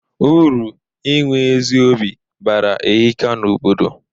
Uru inwe ezi obi bara ehika na obodo.